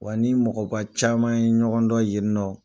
Wa ni mɔgɔba caman ye ɲɔgɔn dɔn yeninɔ